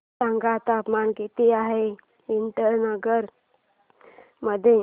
सांगा तापमान किती आहे इटानगर मध्ये